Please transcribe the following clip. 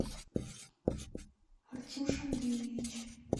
артюш андреевич